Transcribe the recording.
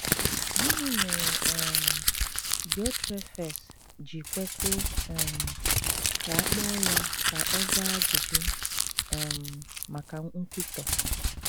Gịnị mere um Diotrephes ji kwesị um ka a kpọọ ya ka ọ zaa ajụjụ um maka nkwutọ?